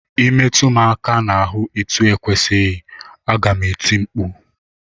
Ị metụ m aka n'ahụ etu ekwesịghị, aga m eti mkpu!